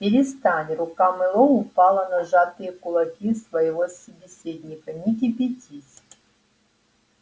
перестань рука мэллоу упала на сжатые кулаки своего собеседника не кипятись